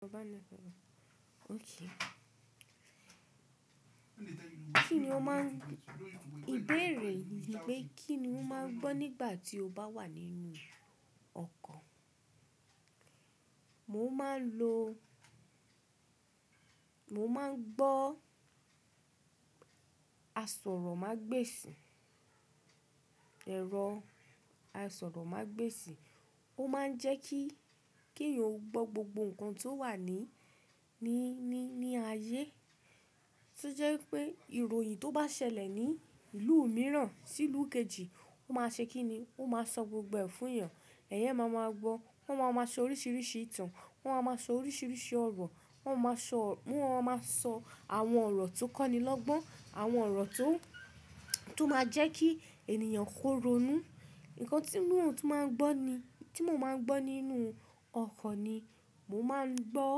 Ìbéèrè yìní pé kí ni o máa gbọ́ nígbà tí o bá wà nínú ọkọ̀? Mo máa ń lo, mo máa ń gbọ́ àsọ̀rọ̀mágbèsì. Ẹ̀rọ àsọ̀rọ̀mágbèsì. Ó máa ń jẹ́ kí, kí èèyàn gbọ́ gbogbo nǹkan tó wà ní, ní, ní, ní ayé. To jẹ́ wipé ìròyìn tó bá ṣẹlẹ̀ ní ìlú mìíràn, sí ìlú kejì, ó máa ṣe kí ni? Ó máa sọ gbogbo ẹ̀ fún èèyàn. Ẹ̀eyan máa ma gbọ́. Wọ́n máa ma sọ oríṣiríṣi ìtàn. Wọ́n máa ma sọ oríṣiríṣi ọ̀rọ̀. Wọ́n máa sọ, wọ́n máa sọ àwọn ọ̀rọ̀ tó kọ́ni lọ́gbọ́n, àwọn ọ̀rọ̀ tó, tó máa jẹ́ kí ènìyàn korònú. Ǹkan tí mò ń, tí màá ń gbọ́ ni, tí mò ń máa ń gbọ́ nínú ọkọ̀ ni, mo máa ń gbọ́,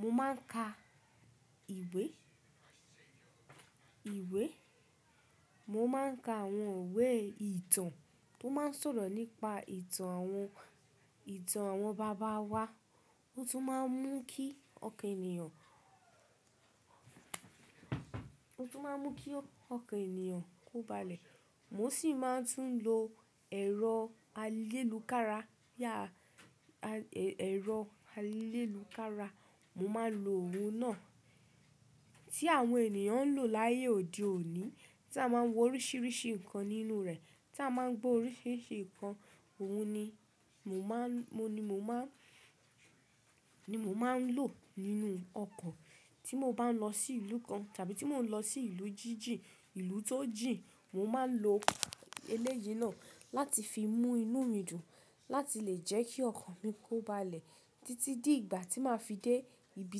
mo máa ń ka ìwé, ìwé. Mo máa ń ka àwọn ìwé ìtàn tó máa ń sọ̀rọ̀ nípa ìtàn àwọn, ìtàn àwọn bàbá wa. Ó tún máa ń mú kí ọkàn ènìyàn, ó tún máa ń mú kí ọkàn ènìyàn kóbalẹ̀. Mo sì máa ń tún lo ẹ̀rọ ayélukára. Ẹ̀rọ ayélukára, mo máa ń lo òun náà tí àwọn ènìyàn ń lò láyé òde òní, tí a máa ń wo oríṣiríṣi nǹkan nínú rẹ̀, tí a máa ń gbọ́ oríṣiríṣi nǹkan. Òun ni mo máa ń, mo ni mo máa ń, ni mo máa ń lò nínú ọkọ̀ tí mo bá ń lọ sí ìlú kan, tàbí tí mo ń lọ sí ìlú jíjìn, ìlú tó jìn. Mo máa ń lo eléyìí náà láti fi mú inú mi dùn, láti lè jẹ́ kí ọkan mi kóbalẹ̀ títí di ìgbà tí màá fi dé ibi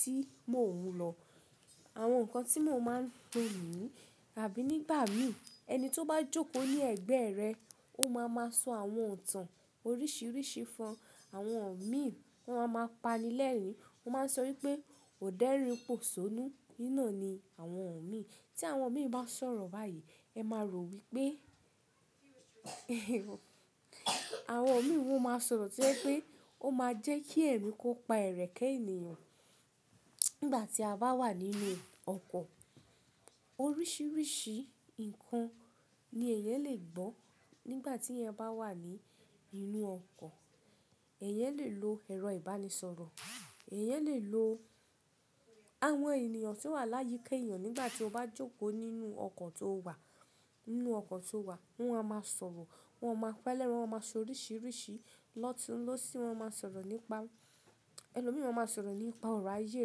tí mò ń lọ. Àwọn nǹkan tí mò ń máa ń lo niyi, àbí nígbà mìíràn ẹni tó bá jókòó ní ẹ̀gbẹ́ rẹ, ó máa ma sọ àwọn itàn oríṣiríṣi fún ọ. Àwọn mi, wọ́n máa ma pa ni lẹ́rìn-ín. Wọ́n máa sọ wípé, "ọ̀dẹ́ rìn pọ̀sónú," iná ni àwọn mi. Tí àwọn mi bá sọ̀rọ̀ báyìí, ẹ máa rò wípé, àwọn mi wọ́n máa sọ̀rọ̀ tí ẹ pé ó máa jẹ́ kí ẹ̀mí kó pa ẹ̀rẹ̀kẹ́ ènìyàn. Nígbà tí a bá wà nínú ọkọ̀, oríṣiríṣi nǹkan ni ẹ̀eyan lè gbọ́. Nígbà tí ẹ̀eyan bá wà ní inú ọkọ̀, ẹ̀eyan lè lo ẹ̀rọ ìbánisọ̀rọ̀, ẹ̀eyan lè lo àwọn ènìyàn tí wà láyé kẹ́yìn ọ́n nígbà tí o bá jókòó nínú ọkọ̀ tó wà, nínú ọkọ̀ tó wà. Wọ́n á máa sọ̀rọ̀, wọ́n máa pa lẹ́rìn-ín, wọ́n máa sọ oríṣiríṣi lótun lósí. Wọ́n máa ń sọ̀rọ̀ nípa, ẹlo mìíràn máa ń sọ̀rọ̀ nípa ọ̀rọ̀ ayé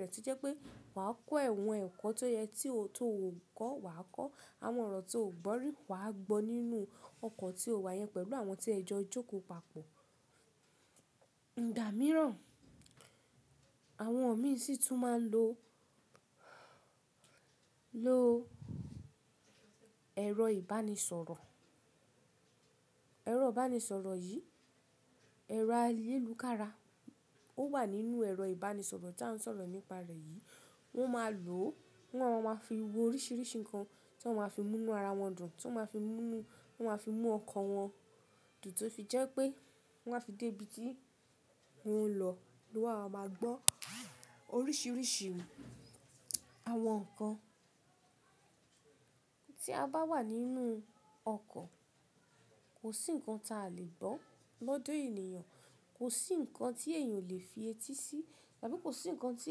rẹ̀ tí jẹ́ pé wà á kọ́ ẹ̀wọ̀n ẹ̀kọ́ tó yẹ, tí o, tó ò kọ́ wà á kọ́. Àwọn ọ̀rọ̀ tí o ò gbọ́ rí wà á gbọ́ nínú ọkọ̀ tí o wà yẹn pẹ̀lú àwọn tí ẹ jọ jókòó papọ̀. Ìgbà mìíràn, àwọn mi sì tún máa ń lo, lo ẹ̀rọ ìbánisọ̀rọ̀. Ẹ̀rọ ìbánisọ̀rọ̀ yìí, ẹ̀rọ ayélukára, ó wà nínú ẹ̀rọ ìbánisọ̀rọ̀ tí a ń sọ̀rọ̀ nípa rẹ̀ yìí. Wọ́n máa lò ó, wọ́n máa fi wo oríṣiríṣi nǹkan tí wọ́n máa fi mú inú ara wọn dùn, tí wọ́n máa fi mú inú, wọ́n máa fi mú ọkọ̀ wọn dùn tó fi jẹ́ pé wọ́n á fi dé ibi tí wọ́n ń lọ. Ni wà á máa gbọ́n oríṣiríṣi àwọn nǹkan. Tí a bá wà nínú ọkọ̀, kò sí nǹkan ta lè gbọ́ lọ́dọ̀ ènìyàn, kò sí nǹkan tí èèyàn ò lè fi etí sí, tàbí kò sí nǹkan tí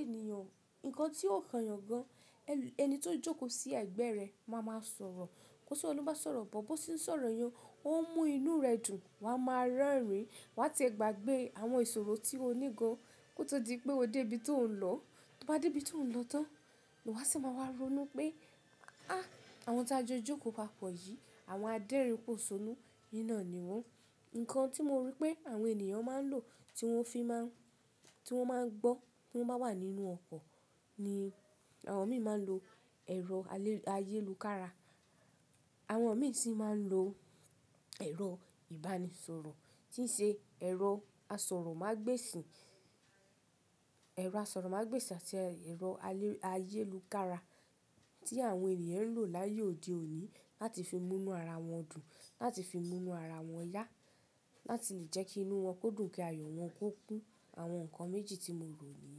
ènìyàn, nǹkan tí yóò kan èèyàn gan. Ẹni tó jókòó sí ẹ̀gbẹ́ rẹ máa ma sọ̀rọ̀. Kó ṣe ó ló bá sọ̀rọ̀ bọ̀, bó ṣe ń sọ̀rọ̀ yan, ó ń mú inú rẹ dùn. Ma á máa ránìrí wá tí ẹ gbàgbé àwọn ìsọ̀rọ̀ tí ó nígo kó tó di pé o dé ibi tó ń lọ. Tí o bá dé ibi tó ń lọ tán ni wà á sì máa wá ronú pé, "á! Àwọn tí a jọ jókòó papọ̀ yìí, àwọn adẹ́rìnpọ̀sónú, iná ni wọ́n." Nǹkan tí mo rí pé àwọn ènìyàn máa ń lò tí wọ́n fi máa ń, tí wọ́n máa ń gbọ́ tí wọ́n bá wà nínú ọkọ̀ ni àwọn mi máa ń lo ẹ̀rọ ayélukára. Àwọn mi sì máa ń lo ẹ̀rọ ìbánisọ̀rọ̀ tí í ṣe ẹ̀rọ àsọ̀rọ̀mágbèsì. Ẹ̀rọ àsọ̀rọ̀mágbèsì àti ẹ̀rọ ayélukára tí àwọn ènìyàn ń lò láyé òde òní láti fi mú inú ara wọn dùn, láti fi mú inú ara wọn yá, láti lè jẹ́ kí inú wọn kó dùn, kí ayọ̀ wọn kó kún Àwọn nǹkan méjì tí mo rò niyen.